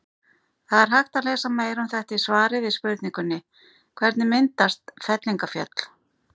Það er hægt að lesa meira um þetta í svari við spurningunni Hvernig myndast fellingafjöll?